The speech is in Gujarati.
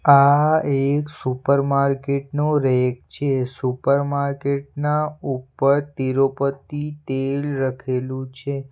આ એક સુપર માર્કેટ નો રેક છે સુપર માર્કેટ ના ઉપર તિરૂપતિ તેલ લખેલું છે.